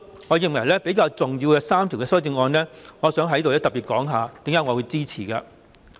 我認為當中3項修正案比較重要，想在此特別指出為何我會支持。